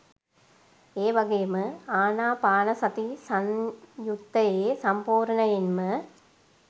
ඒ වගේම ආනාපානසති සංයුත්තයේ සම්පූර්ණයෙන්ම